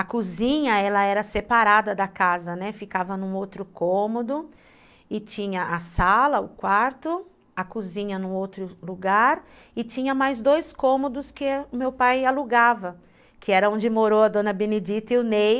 A cozinha ela era separada da casa, né, ficava num outro cômodo, e tinha a sala, o quarto, a cozinha num outro lugar, e tinha mais dois cômodos que o meu pai alugava, que era onde morou a dona Benedita e o Ney,